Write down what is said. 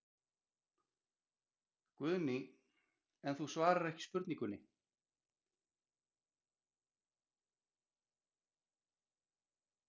Guðný: En þú svarar ekki spurningunni?